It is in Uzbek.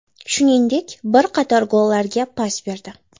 Shuningdek, bir qator gollarga pas berdi.